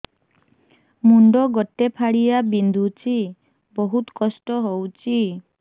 ମୁଣ୍ଡ ଗୋଟେ ଫାଳିଆ ବିନ୍ଧୁଚି ବହୁତ କଷ୍ଟ ହଉଚି